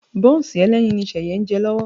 Bọ́ǹsì ẹlẹ́yin ni Ṣẹ̀yẹ ń jẹ lọ́wọ́